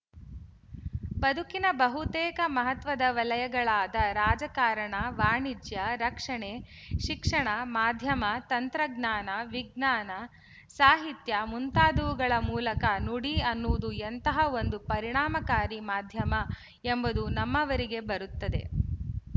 ಬದುಕಿನ ಬಹುತೇಕ ಮಹತ್ವದ ವಲಯಗಳಾದ ರಾಜಕಾರಣ ವಾಣಿಜ್ಯ ರಕ್ಷಣೆ ಶಿಕ್ಷಣ ಮಾಧ್ಯಮ ತಂತ್ರಜ್ಞಾನ ವಿಜ್ಞಾನ ಸಾಹಿತ್ಯ ಮುಂತಾದವುಗಳ ಮೂಲಕ ನುಡಿ ಅನ್ನುವುದು ಎಂತಹ ಒಂದು ಪರಿಣಾಮಕಾರಿ ಮಾಧ್ಯಮ ಎಂಬುದು ನಮ್ಮವರಿಗೆ ಬರುತ್ತದೆ